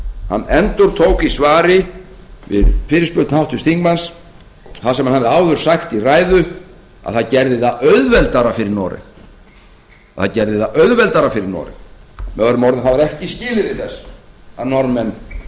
hann endurtók í svari við fyrirspurn háttvirts þingmanns það sem hann hafði áður sagt í ræðu að það gerði það auðveldara fyrir noreg möo það var ekki skilyrði þess að norðmenn